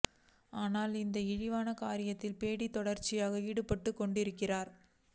ஆனாலும் இந்த இழிவான காரியத்தில் பேடி தொடர்ச்சியாக ஈடுபட்டுக் கொண்டிருக்கிறார்